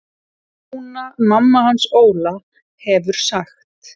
Jóna mamma hans Óla hefur sagt.